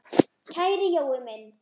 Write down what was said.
Kæri Jói minn.